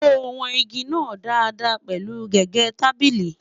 sọ wọn ìgi nà Dàda pẹlu gégé tábìlì?